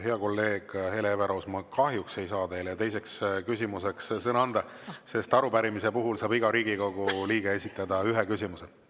Hea kolleeg Hele Everaus, ma kahjuks ei saa teile teiseks küsimuseks sõna anda, sest arupärimise puhul saab iga Riigikogu liige esitada ühe küsimuse.